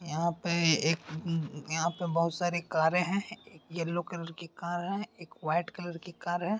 यहां पे एक यहां पे बहु सारी कारें हैं। येलो कलर की कार है। एक व्हाइट कलर की कार है।